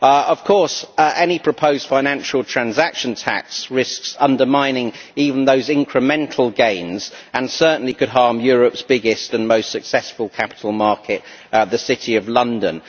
Of course, any proposed financial transaction tax risks undermining even those incremental gains and certainly could harm Europe's biggest and most successful capital market the City of London.